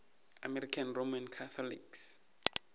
american roman catholics